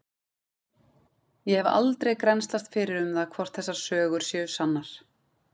Ég hef aldrei grennslast fyrir um það hvort þessar sögur séu sannar.